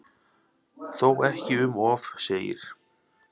Þó ekki um of segir